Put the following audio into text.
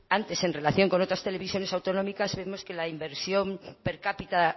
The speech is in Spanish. antes en relación con otras televisiones autonómicas vemos que la inversión per cápita